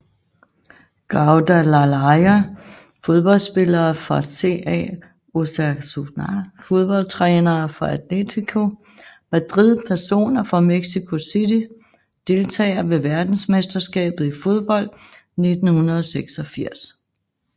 Guadalajara Fodboldspillere fra CA Osasuna Fodboldtrænere fra Atlético Madrid Personer fra Mexico City Deltagere ved verdensmesterskabet i fodbold 1986